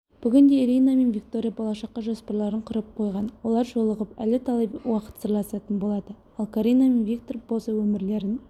бүгінде ирина мен виктория болашаққа жоспарларын құрып қойған олар жолығып әлі талай уақыт сырласатын болады ал карина мен виктор болса өмірлерін